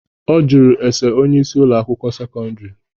Ọ jụrụ ese onyeisi Ụlọ akwụkwọ sekọndrị.